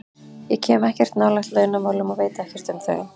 Ég kem ekkert nálægt launamálum og veit ekkert um þau.